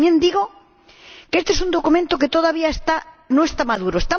Pero también digo que este es un documento que todavía no está maduro.